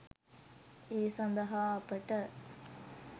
ඒ සදහා අපට